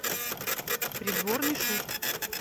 придворный шут